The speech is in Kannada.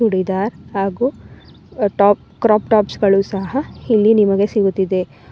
ಚೂಡಿದಾರ್ ಹಾಗೂ ಟಾಪ್ ಕ್ರಾಪ್ ಟಾಪ್ಸ್ ಗಳು ಸಹ ಇಲ್ಲಿ ನಿಮಗೆ ಸಿಗುತ್ತಿದೆ.